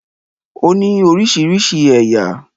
Ó ní orísirísi ẹ̀yà.